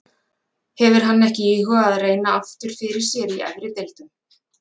Hefur hann ekki íhugað að reyna aftur fyrir sér í efri deildum?